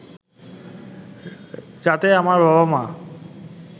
যাতে আমার বাবা-মা